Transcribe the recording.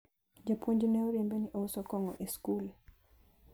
japuonj ne oriembe ni ouso kong'o e sikul